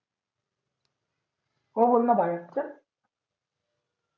हो बोलणं बाहेर चल